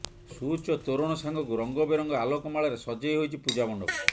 ସୁଉଚ୍ଚ ତୋରଣ ସାଙ୍ଗକୁ ରଙ୍ଗବେରଙ୍ଗ ଆଲୋକମାଳାରେ ସଜେଇ ହୋଇଛି ପୂଜା ମଣ୍ଡପ